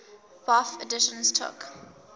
bofh editions took